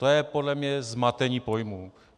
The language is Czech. To je podle mě zmatení pojmů.